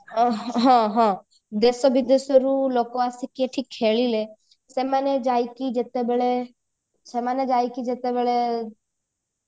ଅ ହଁ ହଁ ଦେଶ ବିଦେଶରୁ ଲୋକ ଆସିକି ଏଠି ଖେଳିଲେ ସେମାନେ ଯାଇକି ଯେତେବେଳେ ସେମାନେ ଯାଇକି ଯେତେବେଳେ